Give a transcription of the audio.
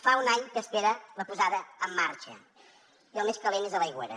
fa un any que espera la posada en marxa i el més calent és a l’aigüera